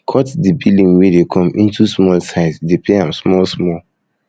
cut di billing wey dey come into small size dey pay am small small